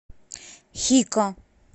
хико